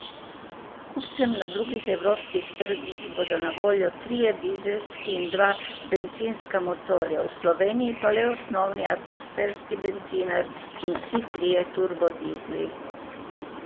Kupcem na drugih evropskih trgih bodo na voljo trije dizelski in dva bencinska motorja, v Sloveniji pa le osnovni atmosferski bencinar in vsi trije turbodizli.